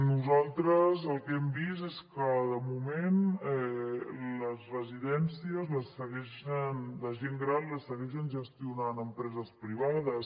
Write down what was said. nosaltres el que hem vist és que de moment les residències de gent gran les segueixen gestionant empreses privades